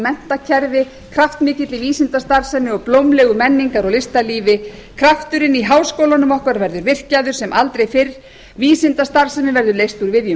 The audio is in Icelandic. menntakerfi kraftmikilli vísindastarfsemi og blómlegu menningar og listalífi krafturinn í háskólunum okkar verður virkjaður sem aldrei fyrr vísindastarfsemi verður leyst úr viðjum